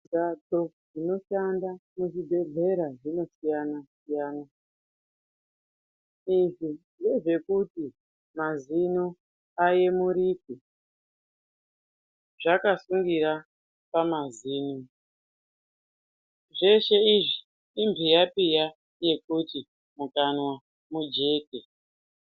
Mbatso dzinoshanda muzvibhedhlera dzinosiyana-siyana, Izvi ngezvekuti mazino ayemurike ,zvakasungira pamazino. Zveshe izvi imhiyapiya ,yekuti mukanwa mujeke.